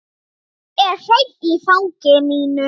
Hann er hreinn í fangi mínu.